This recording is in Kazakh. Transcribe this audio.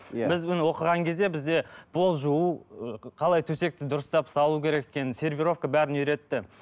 иә біз міне оқыған кезде бізде пол жуу ыыы қалай төсекті дұрыстап салу керек екенін сервировка бәрін үйретті